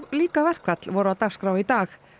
líka verkfall voru á dagskrá í dag